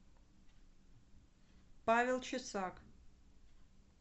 павел чесак